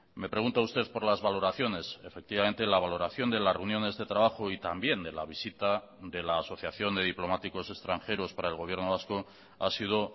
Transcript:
me pregunta usted por las valoraciones efectivamente la valoración de las reuniones de trabajo y también de la visita de la asociación de diplomáticos extranjeros para el gobierno vasco ha sido